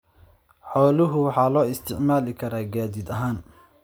Xoolaha waxa loo isticmaali karaa gaadiid ahaan.